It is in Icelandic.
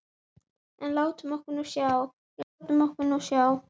En látum okkur nú sjá, já, látum okkur nú sjá.